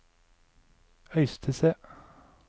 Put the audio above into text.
Øystese